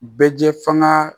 Bɛ jɛ faŋa